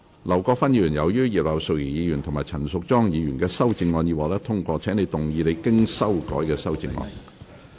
劉國勳議員，由於葉劉淑儀議員及陳淑莊議員的修正案已獲得通過，請動議你經修改的修正案。